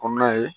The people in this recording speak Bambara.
ye